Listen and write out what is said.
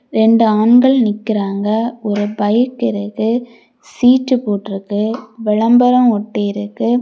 ரெண்டு ஆண்கள் நிக்கிறாங்க ஒரு பைப் இருக்கு சீட்டு போட்டிருக்கு விளம்பரம் ஒட்டிருக்கு.